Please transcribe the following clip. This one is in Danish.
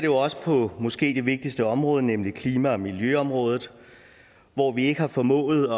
jo også på måske det vigtigste område nemlig klima og miljøområdet hvor vi ikke har formået